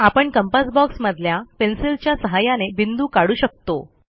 आपण कंपास बॉक्समधल्या पेन्सिलच्या सहाय्याने बिंदू काढू शकतो